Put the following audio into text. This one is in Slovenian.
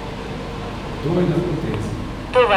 Kdo je na potezi?